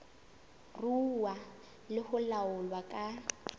ruuwa le ho laolwa ka